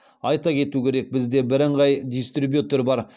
айта кету керек бізде бірыңғай дистрибьютор бар